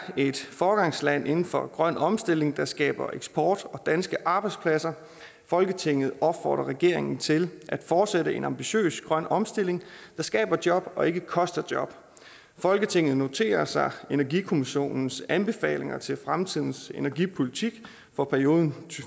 et foregangsland inden for grøn omstilling der skaber eksport og danske arbejdspladser folketinget opfordrer regeringen til at fortsætte en ambitiøs grøn omstilling der skaber job og ikke koster job folketinget noterer sig energikommissionens anbefalinger til fremtidens energipolitik for perioden